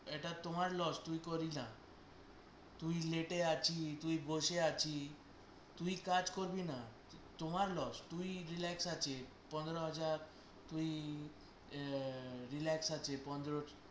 এটা তোমার loss তুই করিস না, তুই তুই বসে আছিস তুই কাজ করবি না তোমার loss তুই relax আছিস পনেরো হাজার তুই আহ relax আছিস পনেরো